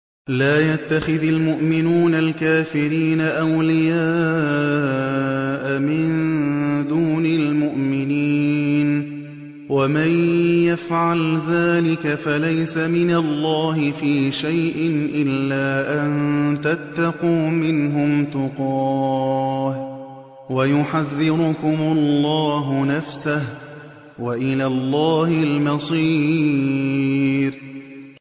لَّا يَتَّخِذِ الْمُؤْمِنُونَ الْكَافِرِينَ أَوْلِيَاءَ مِن دُونِ الْمُؤْمِنِينَ ۖ وَمَن يَفْعَلْ ذَٰلِكَ فَلَيْسَ مِنَ اللَّهِ فِي شَيْءٍ إِلَّا أَن تَتَّقُوا مِنْهُمْ تُقَاةً ۗ وَيُحَذِّرُكُمُ اللَّهُ نَفْسَهُ ۗ وَإِلَى اللَّهِ الْمَصِيرُ